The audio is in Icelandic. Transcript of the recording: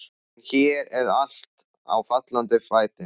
En hér er allt á fallanda fæti.